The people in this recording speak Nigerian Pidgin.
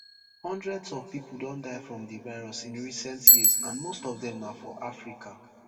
hundreds of pipo don die from di virus in recent years and most of dem na for africa